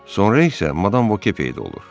Sonra isə Madam Voke peyda olur.